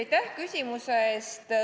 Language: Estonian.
Aitäh küsimuse eest!